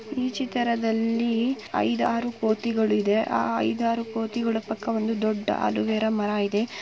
ಈ ಚಿತ್ರದಲ್ಲಿ ಐದಾರು ಕೋತಿಗಳು ಇವೆ ಆ ಐದಾರು ಕೋತಿಗಳ ಜೊತೆ ಅಲೋವೇರಾ ಮರ ಇದೆ.